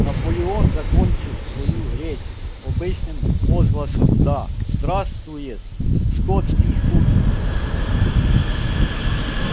наполеон закончил свою речь обычным возгласом да здравствует скотский хутор